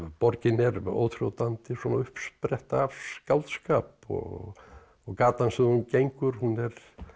borgin er óþrjótandi uppspretta af skáldskap og gatan sem þú gengur hún er